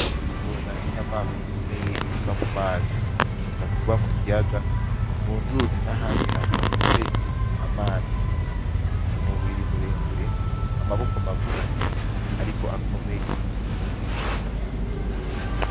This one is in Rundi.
Ingona ni nyamaswa ikomeye iba mu mazi. Ikunda kuba mukiyaga, mu nzuzi n’ayandi hantu hafise amazi ,zifise umubiri muremure, amaboko magufi ariko akomeye.